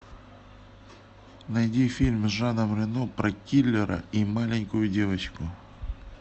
найди фильм с жаном рено про киллера и маленькую девочку